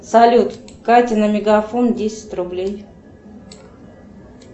салют кате на мегафон десять рублей